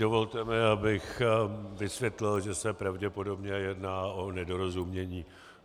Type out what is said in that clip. Dovolte mi, abych vysvětlil, že se pravděpodobně jedná o nedorozumění.